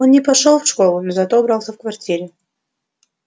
он не пошёл в школу но зато убрался в квартире